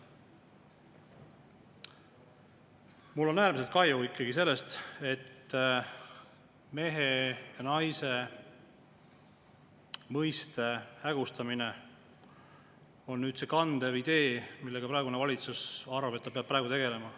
Mul on ikkagi äärmiselt kahju sellest, et mehe ja naise mõiste hägustamine on nüüd see kandev idee, millega praegune valitsus oma arvates peab praegu tegelema.